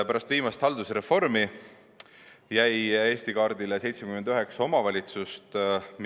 Pärast viimast haldusreformi jäi Eesti kaardile 79 omavalitsust.